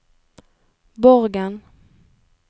Borgen